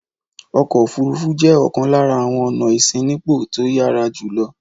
Ọkọ̀-òfurufú jẹ́ ọ̀kan lára àwọn ọ̀nà ìṣínípò tó yára jù lọ.